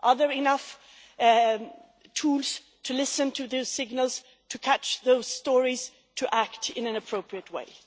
Are there enough tools to listen to their signals, to catch those stories, to act in an appropriate way?